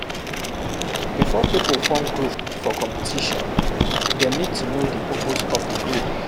Before pipo form group for competition dem need to know di purpose of di group